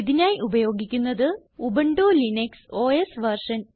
ഇതിനായി ഉപയോഗിക്കുന്നത് Ubuntu Linux OS version